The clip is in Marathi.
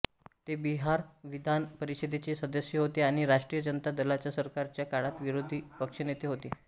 ते बिहार विधान परिषदेचे सदस्य होते आणि राष्ट्रीय जनता दलाच्या सरकारच्या काळात विरोधी पक्षनेते होते